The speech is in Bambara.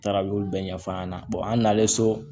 N taara olu bɛɛ ɲɛfɔ a ɲɛna an n'ale so